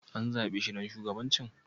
An zabe shi ɗan shugabancin?